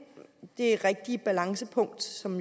det rigtige balancepunkt som